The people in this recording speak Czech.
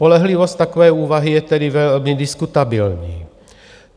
Spolehlivost takové úvahy je tedy velmi diskutabilní.